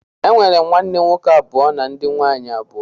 E nwere m ụmụnne nwoke abụ na ndị nwaanyị abụọ.